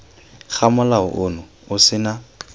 ga molao ono o sena